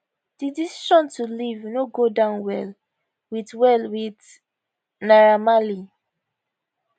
di decision to leave no go down well wit well wit naira marley